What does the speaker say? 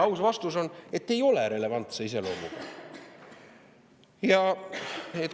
Aus vastus on, et ei ole relevantse iseloomuga.